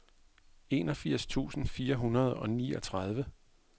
enogfirs tusind fire hundrede og niogtredive